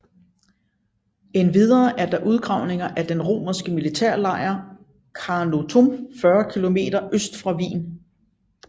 Endvidere er der udgravninger af den romerske militærlejr Carnuntum 40 km øst for Wien